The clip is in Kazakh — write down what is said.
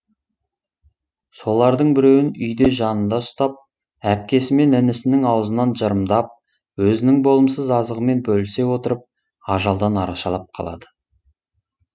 солардың біреуін үйде жанында ұстап әпкесі мен інісінің аузынан жырымдап өзінің болымсыз азығымен бөлісе отырып ажалдан арашалап қалады